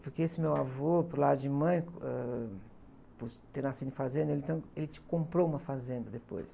Porque esse meu avô, por lado de mãe, ãh, por ter nascido em fazenda, ele, entrão, ele comprou uma fazenda depois.